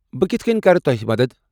بہٕ کِتھہٕ كنۍ كرٕ توٚہہِ مدتھ ؟